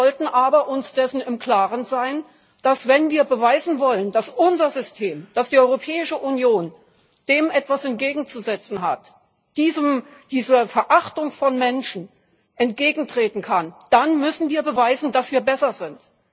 Wir sollten uns aber darüber im Klaren sein, dass, wenn wir beweisen wollen, dass unser System, dass die Europäische Union dem etwas entgegenzusetzen hat dieser Verachtung von Menschen entgegentreten kann wir dann beweisen müssen, dass wir besser sind.